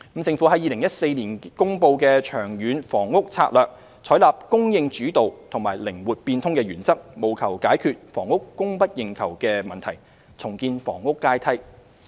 政府在2014年公布《長遠房屋策略》，採納"供應主導"及"靈活變通"的原則，務求解決房屋供不應求的問題，重建房屋階梯。